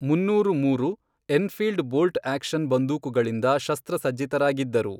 ಮೂನ್ನೂರು ಮೂರು, Enfield bolt action ಬಂದೂಕುಗಳಿಂದ ಶಸ್ತ್ರಸಜ್ಜಿತರಾಗಿದ್ದರು.